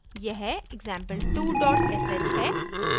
यह example2 sh है